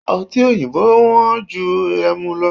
Ọti oyinbo wó̩n ju ẹmu lo